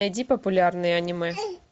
найди популярные аниме